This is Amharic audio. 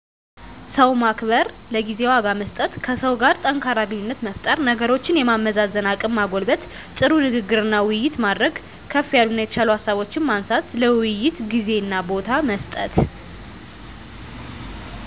ሰው ማክበር፣ ለጊዜ ዋጋ መስጠት፣ ከሰው ጋር ጠንካራ ግንኙነት መፍጠር፣ ነገሮችን የማመዛዘን አቅም መጎልበት፣ ጥሩ ንግግርና ውይይት ማድረግ፣ ክፋ ያሉና የተሻሉ ሃሳቦችን ማንሳት፣ ለውይይት ጊዜና ቦታ መስጠት።